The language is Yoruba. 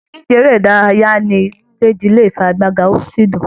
Ìdíje eré ìdárayá onílé jile ní ifigagbaga o sí dùn.